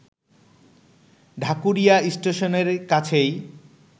ঢাকুরিয়া স্টেশনের কাছেই